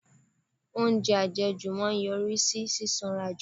Oúnjẹ àjẹjù máa ń yọrí sí sísanra jù.